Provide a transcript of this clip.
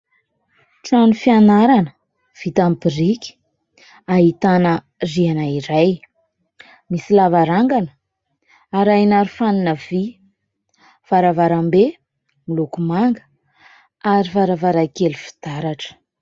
Trano fianarana vita amin'ny biriky ahitana rihana iray. Misy lavarangana arahina arofanina vy varavarambe miloko manga ary varavarankely fitaratra.